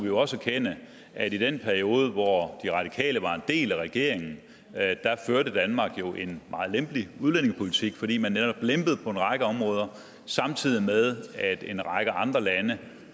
vi jo også erkende at i den periode hvor de radikale var en del af regeringen førte danmark en meget lempelig udlændingepolitik fordi man netop lempede på en række områder samtidig med at en række andre lande